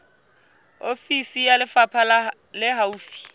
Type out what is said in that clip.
ofisi ya lefapha le haufi